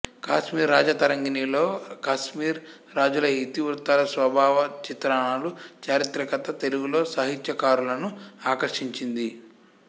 కాశ్మీర రాజతరంగిణిలోని కశ్మీర రాజుల ఇతివృత్తాలు స్వభావ చిత్రణలు చారిత్రికత తెలుగులో సాహిత్యకారులను ఆకర్షించింది